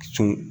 Sɔn